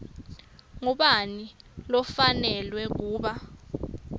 ngubani lofanelwe kuba